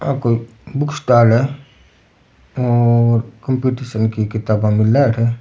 आ कोई book stall है और कॉम्पिटिशन की किताबा मिले अठे।